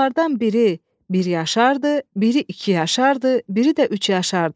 Onlardan biri bir yaşardır, biri iki yaşardır, biri də üç yaşardır.